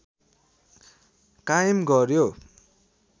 कायम गर्‍यो